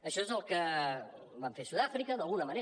això és el que van fer a sud àfrica d’alguna manera